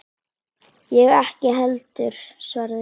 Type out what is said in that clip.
Ég ekki heldur, svaraði ég.